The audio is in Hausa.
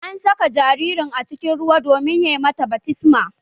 An saka jaririn cikin ruwa domin yi mata baftisma